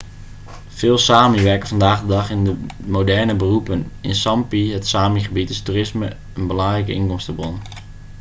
veel sámi werken vandaag de dag in moderne beroepen. in sápmi het sámi-gebied is toerisme is een belangrijke inkomstenbron